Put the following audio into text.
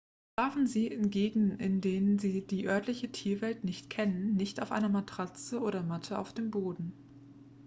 schlafen sie in gegenden in denen sie die örtliche tierwelt nicht kennen nicht auf einer matratze oder matte auf dem boden